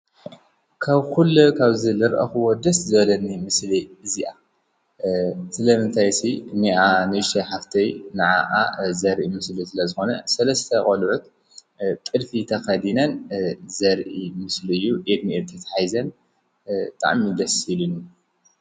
ካብ ኲሉ ካብ ዝልርአኽ ወድስ ዘለኒ ምስሊ እዚኣ ስለምንታይሢ ንኣ ነሽሽሴይ ሓፍተይ ንዓኣ ዘርኢ ምስሊ ስለ ዝኾነ ሠለስተ ቖልበት ቕድፊ ተኸዲነን ዘርኢ ምስልዩ ኤድሚኤ ተትሒዘን ጠዕሚደሲኢሉኒ::